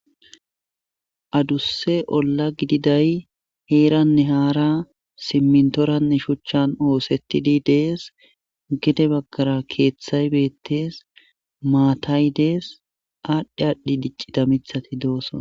adusse olla gididay heeranne haara simmintoranne shuchchan oosettidi dees gede baggara keeththay beettees maatay dees aadhdhi adhdhi dicci da mithati dooson